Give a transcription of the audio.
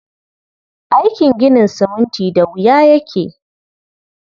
Aikin ginin siminti da wuya yake.